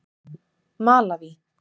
Malaví